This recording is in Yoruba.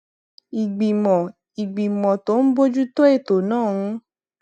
ìgbìmọ ìgbìmọ tó ń bójú tó ètò náà ń